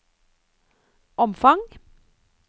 omfang